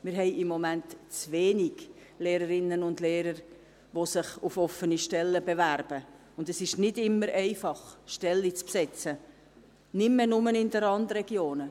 Wir haben im Moment zu wenig Lehrerinnen und Lehrer, die sich auf offene Stellen bewerben, und es ist nicht immer einfach, Stellen zu besetzen – nicht mehr nur in den Randregionen.